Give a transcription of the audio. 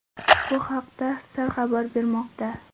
Bu haqda Star xabar bermoqda .